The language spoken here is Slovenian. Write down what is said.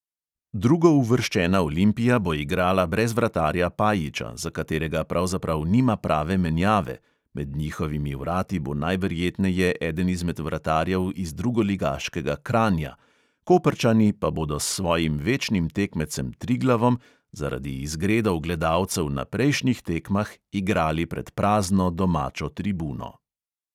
Drugouvrščena olimpija bo igrala brez vratarja pajiča, za katerega pravzaprav nima prave menjave (med njihovimi vrati bo najverjetneje eden izmed vratarjev iz drugoligaškega kranja), koprčani pa bodo s svojim večnim tekmecem triglavom zaradi izgredov gledalcev na prejšnjih tekmah igrali pred prazno domačo tribuno.